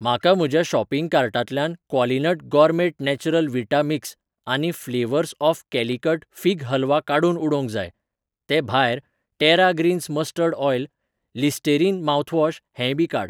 म्हाका म्हज्या शॉपिंग कार्टांतल्यान Qualinut gourmet natural vita mix आनी flavours of Calicut fig halwa काडून उडोवंक जाय. ते भायर, Terra Greens mustard oil, Listerine mouthwash हेंयबी काड.